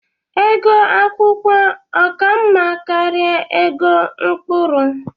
Ego akwụkwọ ọ ka mma karịa ego mkpụrụ?